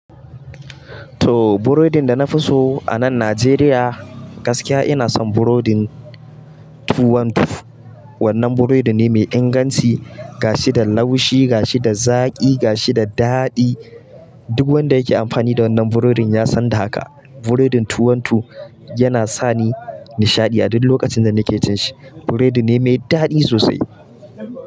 To burodin da na fi so a nan Najeriya, gaskiya ina son burodin tuwon tuf. Wannan burodi ne mai inganci, gashi da laushi, gashi da zaƙi, gashi da daɗi. Duk wanda yake amfani da wannan burodin ya san da haka. Burodin tuwon tuf yana sani nishaɗi a duk lokacin da nake cin shi. Burodi ne mai daɗi sosai.